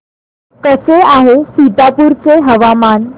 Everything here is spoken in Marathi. कसे आहे सीतापुर चे हवामान